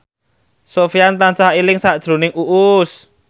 Sofyan tansah eling sakjroning Uus